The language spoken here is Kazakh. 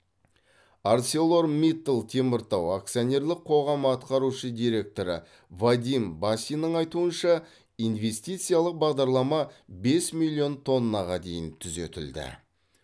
арселормиттал теміртау акционерлік қоғамы атқарушы директоры вадим басиннің айтуынша инвестициялық бағдарлама бес миллион тоннаға дейін түзетілді